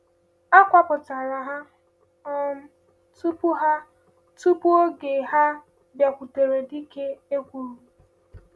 A kwupụtara ha um tupu ha um tupu oge, ha bịakwutere dịka e kwuru.